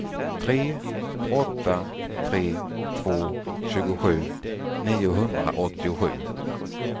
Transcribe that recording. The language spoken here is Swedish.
tre åtta tre två tjugosju niohundraåttiosju